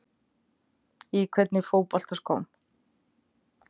Í hvernig fótboltaskóm?